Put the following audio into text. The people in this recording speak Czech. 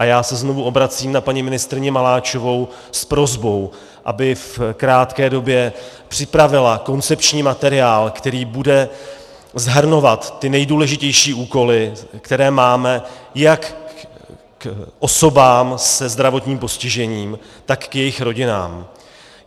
A já se znovu obracím na paní ministryni Maláčovou s prosbou, aby v krátké době připravila koncepční materiál, který bude shrnovat ty nejdůležitější úkoly, které máme jak k osobám se zdravotním postižením, tak k jejich rodinám.